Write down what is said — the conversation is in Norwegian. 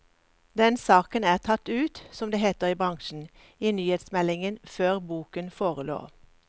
Den saken er tatt ut, som det heter i bransjen, i nyhetsmeldinger før boken forelå.